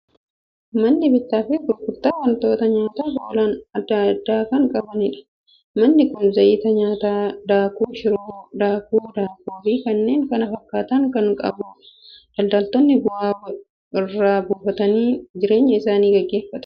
Manni bittaa fi gurgurtaa waantota nyaataaf oolan adda addaa kan qabudha. Manni kun zayita nyaataa, daakuu shiroo, daakuu daabboo fi kanneen kana fakkaatan kan qabudha. Daldaltoonni bu'aa irraa buufataniin jireenya isaanii gaggeeffatu.